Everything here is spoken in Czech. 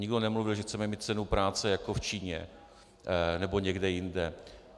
Nikdo nemluvil, že chceme mít cenu práce jako v Číně nebo někde jinde.